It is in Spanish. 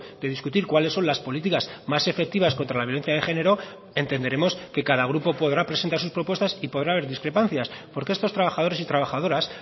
de discutir cuáles son las políticas más efectivas contra la violencia de género entenderemos que cada grupo podrá presentar sus propuestas y podrá haber discrepancias porque estos trabajadores y trabajadoras